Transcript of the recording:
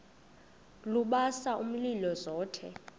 lubasa umlilo zothe